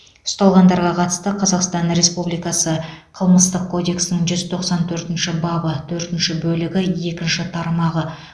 ұсталғандарға қатысты қазақстан республикасы қылмыстық кодексінің жүз тоқсан төртінші бабы төртінші бөлігі екінші тармағы